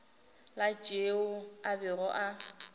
la tšeo a bego a